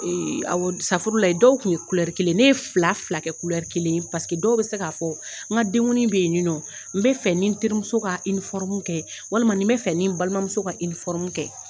safurulayi dɔw kun ye kelen ye, ne ye fila fila kɛ kelen dɔw bɛ se k'a fɔ, n ka denŋuni be yen ni nɔ, n bɛ fɛ ni n terimuso ka kɛ walima n bɛ fɛ ni n balimamuso ka kɛ.